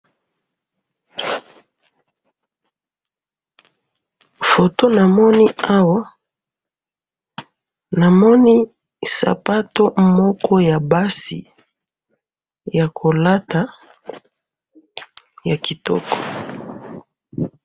Photo namoni awa namoni sapato moko ya basi ya kolata ya kitoko